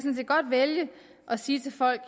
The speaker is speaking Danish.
vælge at sige til folk